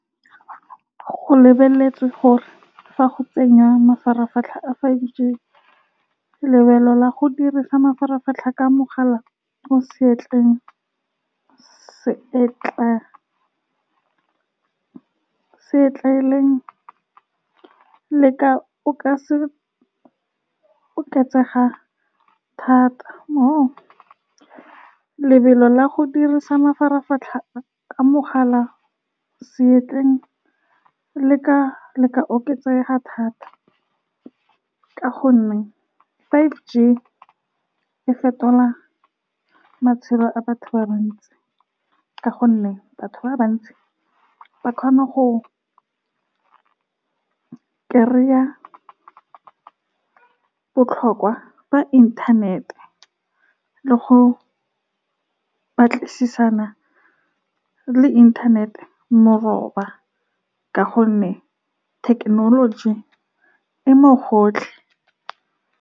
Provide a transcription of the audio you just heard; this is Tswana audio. Go lebeletswe gore fa go tsenngwa mafaratlhatlha a five G, lebelo la go dirisa mafaratlhatlha ka mogala o seatleng le ka, o ka se oketsega thata. Lebelo la go dirisa mafaratlhatlha ka mogala seatleng le ka, le ka oketsega thata ka gonne five G e fetola matshelo a batho ba bantsi, ka gonne batho ba bantsi ba kgona go kry-a botlhokwa ba inthanete le go batlisisana le inthanete mo roba, ka gonne thekenoloji e mo gotlhe.